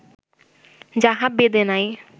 যাহা বেদে নাই